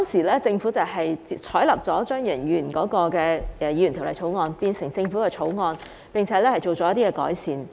當時政府採納了張宇人議員的私人法案，改為政府法案，並作出改善。